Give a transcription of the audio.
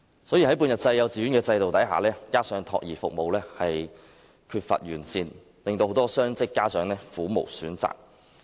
在半日制幼稚園的制度下，加上託兒服務有欠完善，令很多雙職家長苦無選擇。